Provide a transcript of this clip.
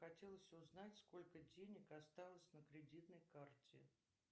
хотелось узнать сколько денег осталось на кредитной карте